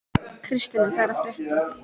Kristian, hvað er að frétta?